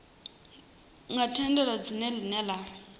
nga tendeli dzina ḽine ḽa